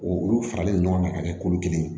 O olu faralen ɲɔgɔn kan ka kɛ kulu kelen ye